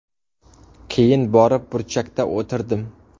Keyin borib burchakda o‘tirdim.